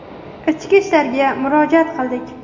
Ichki ishlarga murojaat qildik.